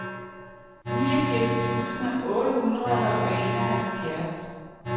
niogfirs tusind otte hundrede og enoghalvfjerds